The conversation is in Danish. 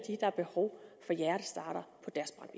der er behov for hjertestartere